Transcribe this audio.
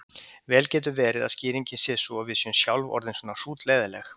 Vel getur verið að skýringin sé sú að við séum sjálf orðin svona hrútleiðinleg.